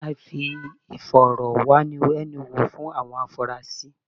A ṣe ìfọ̀rọ̀wánilẹ́nuwò fún àwọn afunrasí.